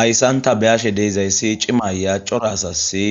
ayssanta beyashe deizayssi cimaya corasasi